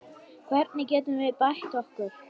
Hvernig getum við bætt okkur?